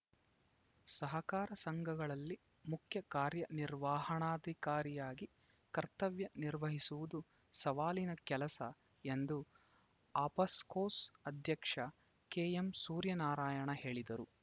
ಸಹಕಾರ ಸಂಘಗಳಲ್ಲಿ ಮುಖ್ಯ ಕಾರ್ಯನಿರ್ವಾಹಣಾಧಿಕಾರಿಯಾಗಿ ಕರ್ತವ್ಯ ನಿರ್ವಹಿಸುವುದು ಸವಾಲಿನ ಕೆಲಸ ಎಂದು ಆಫ್ಸ್‌ಕೋಸ್‌ ಅಧ್ಯಕ್ಷ ಕೆಎಂಸೂರ್ಯನಾರಾಯಣ ಹೇಳಿದರು